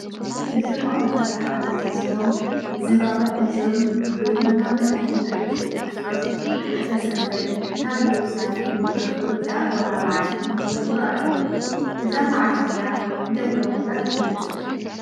እዞም ኣቦታት ካህናት እዚኦም ዝምባባ ሒዞም ንጎይታና መድሓኒትና እየሱስ ኩርስቶስ ብዕለተ ሰንበት ናብ እዮርሳሌም ብክብሪ ዝኣተወላ መዓልቲ የክብሩ ኣለዉ፡፡ እዛ መዓልቲ እዚኣ እንታይ ተባሂላ ትፍለጥ?